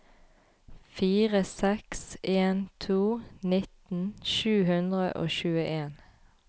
fire seks en to nitten sju hundre og tjueen